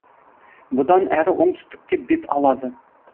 бұдан әрі оңтүстікке бет алады